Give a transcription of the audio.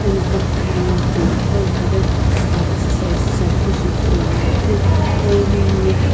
ena pathikhau no timi qo itaghi exercise shiakeu shi ithuluani pu pawu room ye.